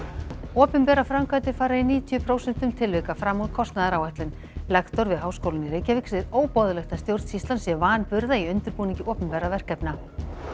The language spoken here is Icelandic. opinberar framkvæmdir fara í níutíu prósentum tilvika fram úr kostnaðaráætlun lektor við Háskólann í Reykjavík segir óboðlegt að stjórnsýslan sé vanburða í undirbúningi opinberra verkefna